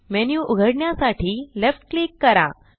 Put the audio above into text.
menu उघडण्यासाठी left click करा